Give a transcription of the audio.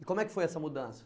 E como é que foi essa mudança?